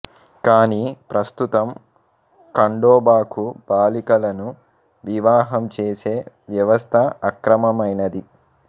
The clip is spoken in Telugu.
కానీ ప్రస్తుతం ఖండోబాకు బాలికలను వివాహం చేసే వ్యవస్థ అక్రమమైనది